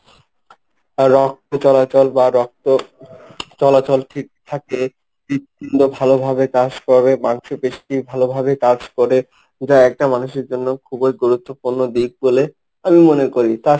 রক্ত চলাচল বা রক্ত চলাচল ঠিক থাকে, হৃদপিণ্ড ভালোভাবে কাজ করবে, মাংস পেশী ভালোভাবে কাজ করে যা একটা মানুষের জন্য খুবই গুরুত্বপূর্ণ দিক বলে আমি মনে করি।